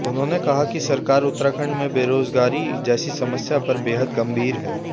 उन्होने कहा कि सरकार उत्तराखण्ड में बेरोजगारी जैसी समस्या पर बेहद गम्भीर है